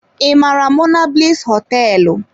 I mara monablis họteelụ?